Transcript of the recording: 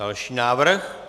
Další návrh?